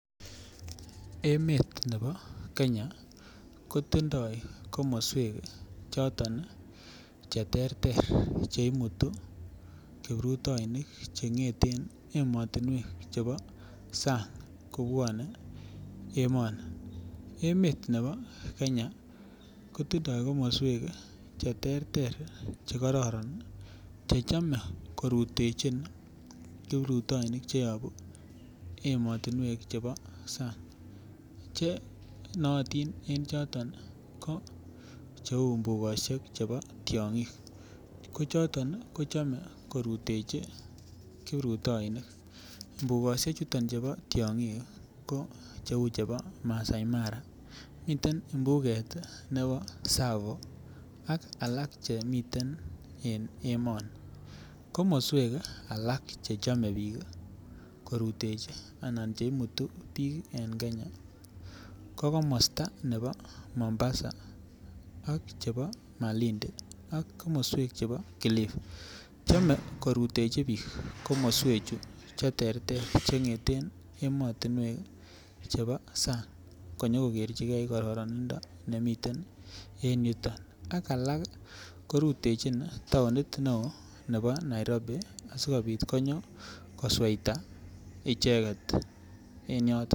Emet nebo Kenya kotindo komoswek choton ii che terter che imuti kiprutounik chengeten emotinwek chebo sang kobwone emoni. Emet nebo Kenya kotindo komoswek che terter che kororon che chome korutechin kiprutounik che yobuu emotinwek chebo sang che nootin en choton ii che uu mbugoshek chebo tiongik ko choton kochome koruteji kiprutounik. Mbugoshek chuton chubo tiongik kouu chebo Maasai mara miten mhuget nebo Tsavo ak alak chemiten en emoni. Komoswek alak chechome biik koruteji anan che chome biik en Kenya ko komastab nebo Mombasa ak chebo malindi ak komoswek chebo kilifi chome koruteji biik komoswek che terter che ngeten emotinwek chebo sang konyo kogerjigee kororonindo nemii yuu, ak alak korutechin tounit ne oo nebo Nairobi asikopit konyo kosweita icheget